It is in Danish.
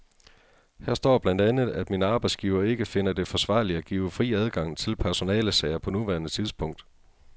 Her står blandt andet, at min arbejdsgiver ikke finder det forsvarligt at give fri adgang til personalesager på nuværende tidspunkt.